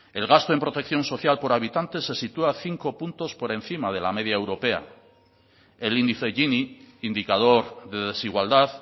el gasto en protección social por habitante se sitúa cinco puntos por encima de la media europea el índice gini indicador de desigualdad